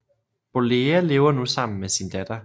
Bollea lever nu sammen med sin datter